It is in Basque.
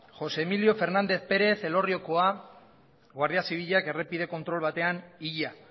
josé emilio fernández pérez elorriokoa guardia zibilak errepide kontrol batean hila